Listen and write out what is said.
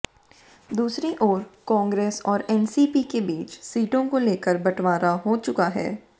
दूसरी ओर कांग्रेस और एनसीपी के बीच सीटों को लेकर बंटवारा हो चुका है